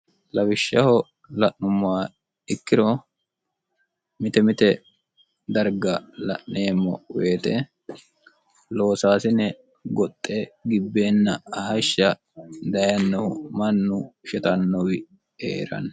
lawishshaho la'mummaa ikkiro mite mite darga la'neemmo weyite loosaasine goxxe gibbeenna ahashsha dayennoh mannu shetannowi ee'ranni